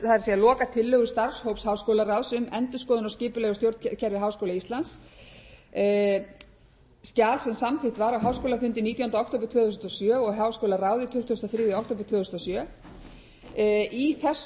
það er lokatillögur starfshóps háskólaráðs um endurskoðun á skipulagi og stjórnkerfi háskóla íslands skjal sem samþykkt var á háskólafundi nítjánda október tvö þúsund og sjö og í háskólaráði tuttugasta og þriðja október tvö þúsund og sjö í